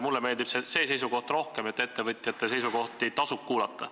Üldiselt mulle meeldib see seisukoht rohkem, et ettevõtjate arvamusi tasub kuulata.